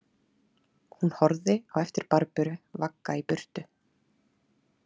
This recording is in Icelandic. Hún horfði á eftir Barböru vagga í burtu.